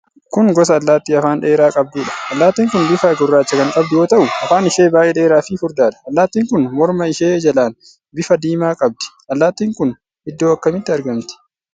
Kun gosa Allaattii afaan dheeraa qabduudha. Allaattin kun bifa gurraacha kan qabdu yoo ta'u, afaan ishee baay'ee dheeraa fi furdaadha. Allaattiin kun morma ishee jalaan bifa diimaa qabdi. Allaattiin kun iddoo akkamiitti argamti?